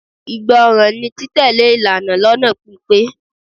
Ìgbọràn ni títẹ̀lé ìlànà lónà pípé.